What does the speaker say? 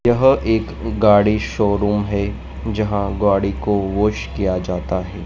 यह एक गाड़ी शोरूम है जहां गाड़ी को वॉश किया जाता है।